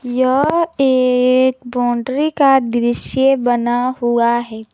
यह एक बाउंड्री का दृश्य बना हुआ है।